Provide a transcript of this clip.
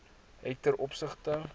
het ten opsigte